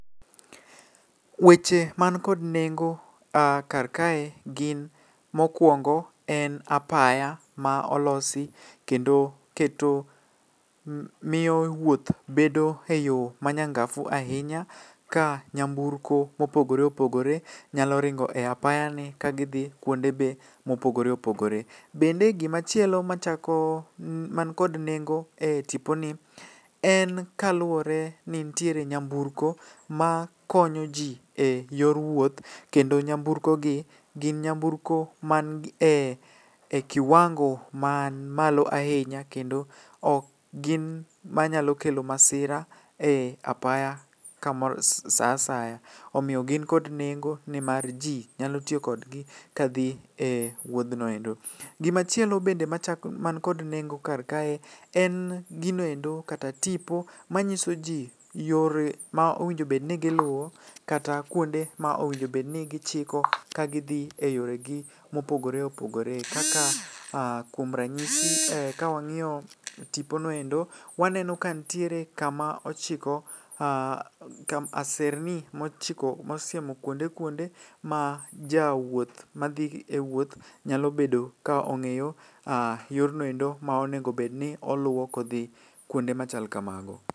Weche man kod nengo kar kae gin mokwongo en apaya ma olosi kendo keto miyo wuoth bedo e yo manyangafu ahinya. Ka nyamburko mopogore opogore nyalo ringo e apaya ni ka gidhi kuonde be mopogore opogore. Bende gimachielo machako man kod nengo e tipo ni, en kaluwore ni nitiere nyamburko ma konyo ji e yor wuoth. Kendo nyamburko gi gin nyamburko man e kiwango man malo ahinya kendo ok gin ma nyalo kelo masira e apaya kamoro sa asaya. Omiyo gin kod nengo nimar ji nyalo tiyo kodgi kadhi e wuodhnoendo. Gimachielo bende machak man kod nengo kar kae en ginoendo kata tipo manyiso ji yore ma owinjobedni giluwo kata kuonde ma owinjobeni gichiko ka gidhi e yore gi mopogore opogore. Kaka kuom ranyisi kawang'iyo tiponoendo, waneno ka ntiere kama ochiko aserni mochiko mosiemo kuonde kuonde. Ma jawuoth madhi e wuoth nyalo bedo ka ong'eyo, yornoendo ma onegobedni oluwo ka odhi kuonde machal kamago.